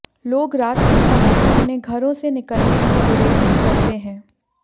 लोग रात के समय अपने घरों से निकलने में गुरेज करते हैं